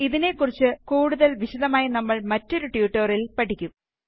ഇതിനെ കുറിച്ച് കൂടുതല് വിശദമായി നമ്മള് മറ്റൊരു ട്യൂട്ടോറിയലില് പഠിക്കും